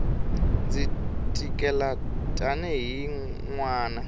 ndzi tikela tanihi n wana